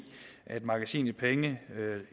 at magasinet penge